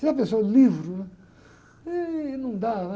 Você já pensou, livro, né? Ih, não dá, né?